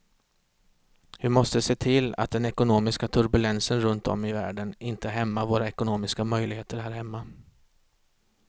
Vi måste se till att den ekonomiska turbulensen runt om i världen inte hämmar våra ekonomiska möjligheter här hemma.